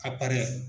A